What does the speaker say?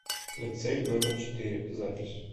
лицей номер четыре запись